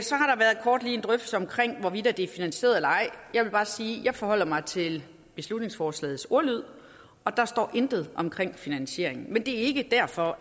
hvorvidt det er finansieret eller ej jeg vil bare sige at jeg forholder mig til beslutningsforslagets ordlyd og der står intet om finansiering men det er ikke derfor